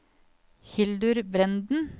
Hildur Brenden